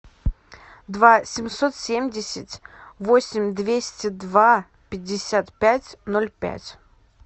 два семьсот семьдесят восемь двести два пятьдесят пять ноль пять